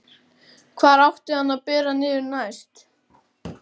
Hvar átti hann að bera niður næst?